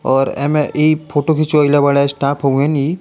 और एमे इ फोटो खिचवाइलए बाड़े स्टाफ होऊवन इ।